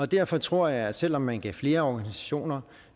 derfor tror jeg at selv om man gav flere organisationer